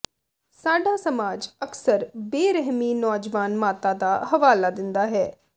ਸਾਡਾ ਸਮਾਜ ਅਕਸਰ ਬੇਰਹਿਮੀ ਨੌਜਵਾਨ ਮਾਤਾ ਦਾ ਹਵਾਲਾ ਦਿੰਦਾ ਹੈ